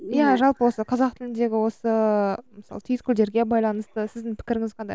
ия жалпы осы қазақ тіліндегі осы мысалы түйіткілдерге байланысты сіздің пікіріңіз қандай